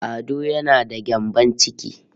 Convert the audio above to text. Ado yana da gyambon ciki